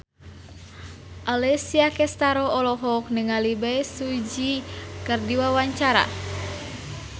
Alessia Cestaro olohok ningali Bae Su Ji keur diwawancara